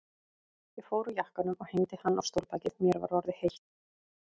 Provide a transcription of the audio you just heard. Ég fór úr jakkanum og hengdi hann á stólbakið, mér var orðið heitt.